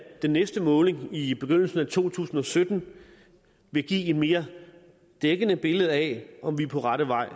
den næste måling i begyndelsen af to tusind og sytten vil give et mere dækkende billede af om vi er på rette vej